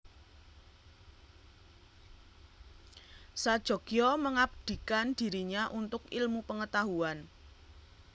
Sajogyo mengabdikan dirinya untuk ilmu pengetahuan